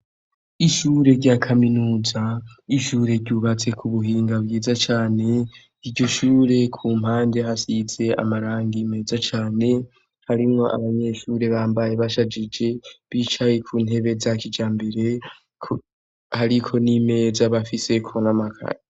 Ishure rya kaminuza, ishure ryubatse ku buhinga bwiza cane, iryo shure ku mpande hasize amarangi meza cane, harimwo abanyeshure bambaye bashajije, bicaye ku ntebe za kijambere, hariko n'imeza bafiseko n'amakaye.